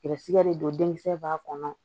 Garisigɛ de don denkisɛ b'a kɔnɔ